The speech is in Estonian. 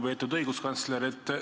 Lugupeetud õiguskantsler!